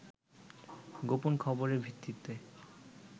গোপন খবরের ভিত্তিতে